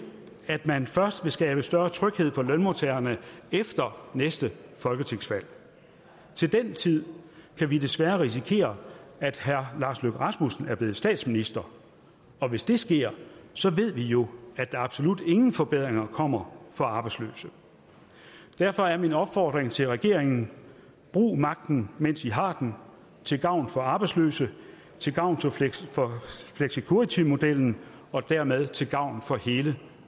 at man først vil skabe større tryghed for lønmodtagerne efter næste folketingsvalg til den tid kan vi desværre risikere at herre lars løkke rasmussen er blevet statsminister hvis det sker ved vi jo at der absolut ingen forbedringer kommer for arbejdsløse derfor er min opfordring til regeringen brug magten mens i har den til gavn for arbejdsløse til gavn for flexicuritymodellen og dermed til gavn for hele